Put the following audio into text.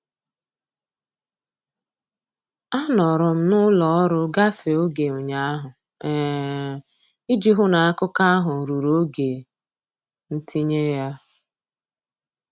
Anọrọ m n'ụlọ ọrụ gafee oge ụnyaahụ um iji hụ na akụkọ ahụ ruru oge ntinye ya.